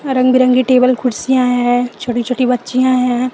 रंग बिरंगी टेबल कुर्सियां है छोटी छोटी बच्चियां हैं।